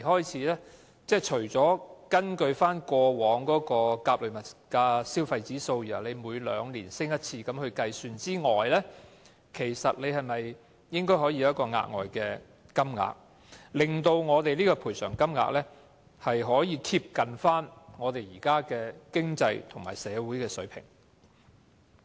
除了根據過往的做法，參考甲類消費物價指數，每兩年提高一次賠償金額之外，是否應該可以有一個額外金額，令我們的賠償金額能夠貼近現時的經濟和社會水平？